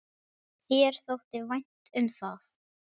Þér þótti vænt um það.